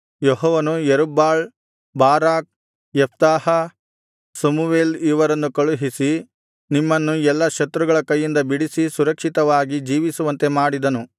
ಯೆಹೋವನು ಯೆರುಬ್ಬಾಳ್ ಬಾರಾಕ್ ಯೆಫ್ತಾಹ ಸಮುವೇಲ್ ಇವರನ್ನು ಕಳುಹಿಸಿ ನಿಮ್ಮನ್ನು ಎಲ್ಲಾ ಶತ್ರುಗಳ ಕೈಯಿಂದ ಬಿಡಿಸಿ ಸುರಕ್ಷಿತವಾಗಿ ಜೀವಿಸುವಂತೆ ಮಾಡಿದನು